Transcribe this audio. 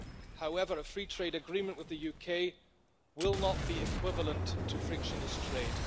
However a free trade agreement with the UK will not be equivalent to frictionless trade.